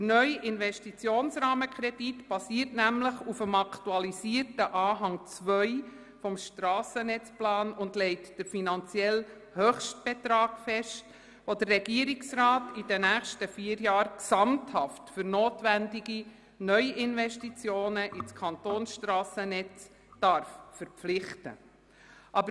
Der neue Investitionsrahmenkredit basiert nämlich auf dem aktualisierten Anhang 2 des Strassennetzplans und legt den finanziellen Höchstbetrag fest, welchen der Regierungsrat während der nächsten vier Jahre gesamthaft für notwendige Neuinvestitionen in das Kantonsstrassennetz verpflichten darf.